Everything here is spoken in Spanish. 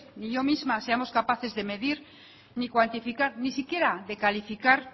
ni yo misma seamos capaces de medir ni cuantificar ni siquiera de calificar